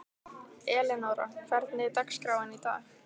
Elenóra, hvernig er dagskráin í dag?